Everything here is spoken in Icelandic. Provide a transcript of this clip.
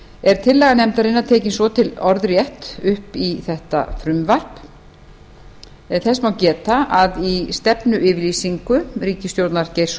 er tillaga nefndarinnar tekin svo til orðrétt upp í þetta frumvarp en þess má geta að í stefnuyfirlýsingu ríkisstjórnar geirs